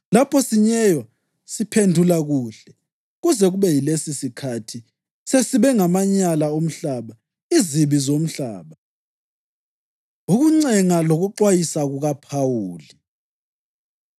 lapho sinyeywa, siphendula kuhle. Kuze kube yilesisikhathi sesibe ngamanyala omhlaba, izibi zomhlaba. Ukuncenga Lokuxwayisa KukaPhawuli